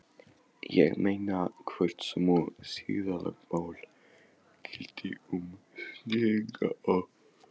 Ég meina, hvort sömu siðalögmál gildi um snillinga og